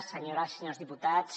senyores senyors diputats